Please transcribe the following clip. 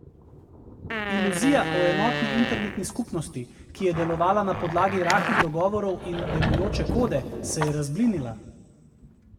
Iluzija o enotni internetni skupnosti, ki je delovala na podlagi rahlih dogovorov in delujoče kode, se je razblinila.